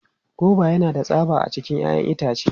Goba yana da tsaba a cikin 'ya'yan itace.